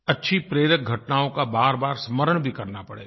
अच्छी प्रेरक घटनाओं का बारबार स्मरण भी करना पड़ेगा